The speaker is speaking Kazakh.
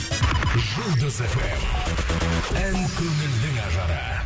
жұлдыз фм ән көңілдің ажары